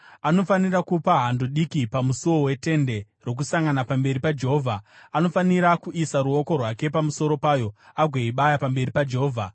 Anofanira kupa hando diki pamusuo weTende Rokusangana pamberi paJehovha. Anofanira kuisa ruoko rwake pamusoro payo agoibaya pamberi paJehovha.